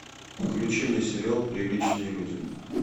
включи мне сериал приличные люди